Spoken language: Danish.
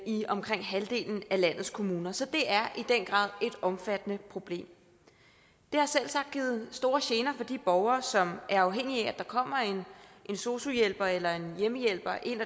i omkring halvdelen af landets kommuner så det er i den grad et omfattende problem det har selvsagt givet store gener for de borgere som er afhængige af at der kommer en sosu hjælper eller en hjemmehjælper ind